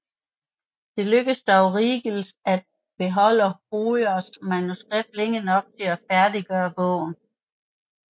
Det lykkedes dog Riegels at beholde Hojers manuskript længe nok til at færdiggøre bogen